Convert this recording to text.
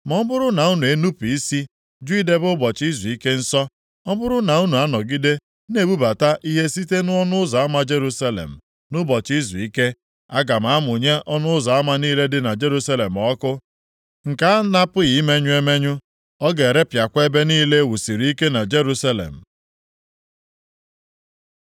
Ma ọ bụrụ na unu enupu isi jụ idebe ụbọchị izuike nsọ, ọ bụrụ na unu anọgide na-ebubata ihe site nʼọnụ ụzọ ama Jerusalem nʼụbọchị izuike, aga m amụnye ọnụ ụzọ ama niile dị na Jerusalem ọkụ, nke a na-apụghị imenyụ emenyụ. Ọ ga-erepịakwa ebe niile e wusiri ike na Jerusalem.’ ”